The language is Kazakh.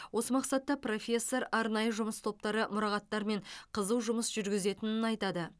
осы мақсатта профессор арнайы жұмыс топтары мұрағаттармен қызу жұмыс жүргізетінін айтады